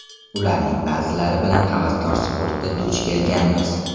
Ularning ba’zilari bilan havaskor sportda duch kelganmiz.